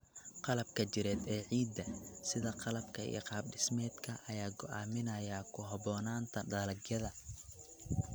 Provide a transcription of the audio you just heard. Qalabka jireed ee ciidda, sida qaabka iyo qaab-dhismeedka, ayaa go'aaminaya ku habboonaanta dalagyada.